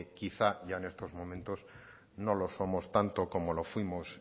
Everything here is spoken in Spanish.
quizá ya en estos momentos no lo somos tanto como lo fuimos